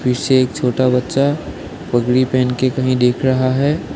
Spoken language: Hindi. पीछे एक छोटा बच्चा पगडी पहन के कहीं देख रहा है।